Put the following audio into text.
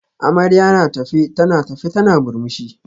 Amarya na tafe tana tafe tana murmushi